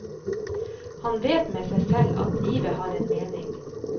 Han vet med seg selv at livet har en mening.